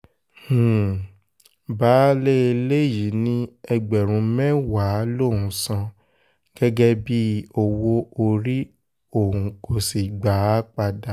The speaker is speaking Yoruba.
um baálé ilé yìí ní ẹgbẹ̀rún mẹ́wàá lòún san um gẹ́gẹ́ bíi owó-orí òun kò sì gbà á padà